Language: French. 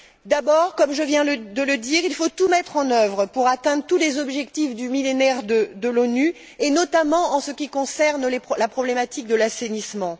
D'abord, comme je viens de le dire, il faut tout mettre en œuvre pour atteindre tous les objectifs du Millénaire de l'ONU, notamment en ce qui concerne la problématique de l'assainissement.